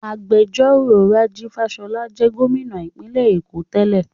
Agbẹjọ́rò Rájí Fáṣọlá jẹ́ Gómìnà ìpínlẹ̀ Èkó tẹ́lẹ̀